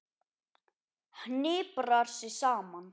Hniprar sig saman.